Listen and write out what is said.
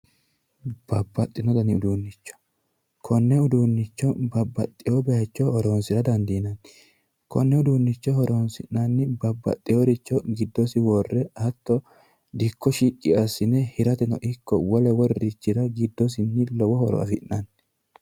Babbaxino danni uduunicho konne uduunicho babbaxino bayicho horonsira dandiinanni konni uduunicho horonsi'nanni babbaxeworicho giddosi worre hatto dikko shiqqi assine hirateno ikko wolu wolurichira giddosinni lowo horo afi'nanni.